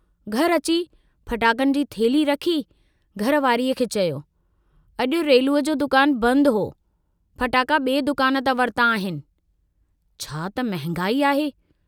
घर अची फटाकनि जी थेल्ही रखी घर वारी खे चयो, अजु रेलूअ जो दुकान बंदि हो, फटाका बिए दुकान तां वरता आहिनि, छा त महागाई आहे।